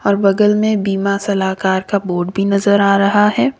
और बगल में बीमा सलाहकार का बोर्ड भी नजर आ रहा है।